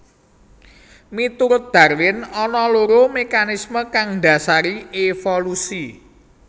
Miturut Darwin ana loro mekanismé kang ndhasari évolusi